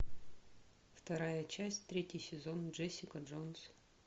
вторая часть третий сезон джессика джонс